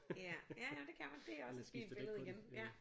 Ja ja det kan det er også et fint billede igen ja